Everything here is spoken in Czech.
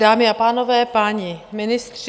Dámy a pánové, páni ministři.